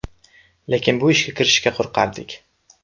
Lekin bu ishga kirishishga qo‘rqardik.